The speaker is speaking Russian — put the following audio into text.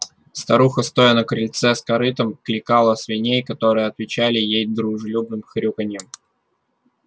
старуха стоя на крыльце с корытом кликала свиней которые отвечали ей дружелюбным хрюканьем